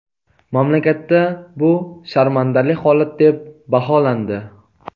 Mamlakatda bu sharmandali holat, deb baholandi.